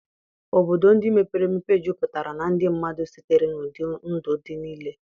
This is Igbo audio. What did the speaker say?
Obodo ndị mepere emepe juputara na ndị mmadụ sitere n'ụdị ndụ dị nile.